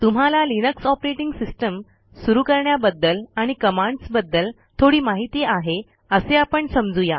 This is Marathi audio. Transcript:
तुम्हाला लिनक्स ऑपरेटिंग सिस्टीम सुरू करण्याबद्दल आणि कमांडसबद्दल थोडी माहिती आहे असे आपण समजू या